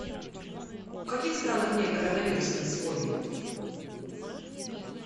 в каких странах нет коронавируса на сегодня